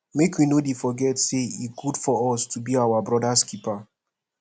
make we no dey forget say e good for us to be our brothers keeper